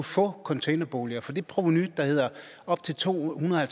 få containerboliger for det provenu der hedder op til to hundrede og